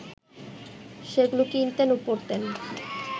সেগুলো কিনতেন ও পড়তেন